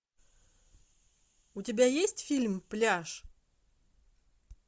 у тебя есть фильм пляж